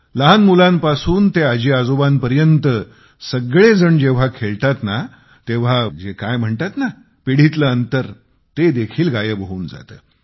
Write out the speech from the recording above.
लहान मुलांपासून आजीआजोबांपर्यंत सगळेजण जेव्हा खेळतात ना तेव्हा जे काय म्हणतात ना पिढीतील अंतर ते देखील गायब होऊन जाते